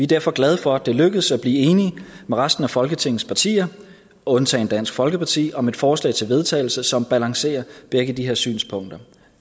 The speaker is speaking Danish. derfor glade for at det er lykkedes blive enige med resten af folketingets partier undtagen dansk folkeparti om et forslag til vedtagelse som balancerer begge de her synspunkter